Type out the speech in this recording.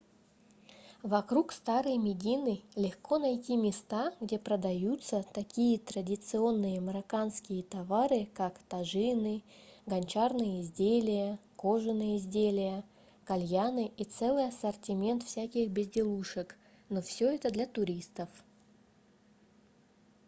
вокруг старой медины легко найти места где продаются такие традиционные марокканские товары как тажины гончарные изделия кожаные изделия кальяны и целый ассортимент всяких безделушек но всё это для туристов